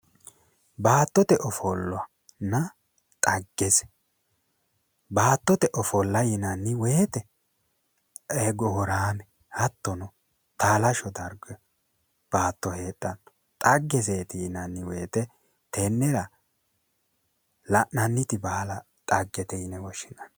Baattote ofollonna dhaggese, baattote ofolla yinanni woyte ee gooraame hattono taalashsho darga baatto heedhanno, dhaggeseti yinanni woytetennera la'nanniti baala dhaggete yine woshshinanni